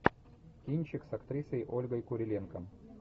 кинчик с актрисой ольгой куриленко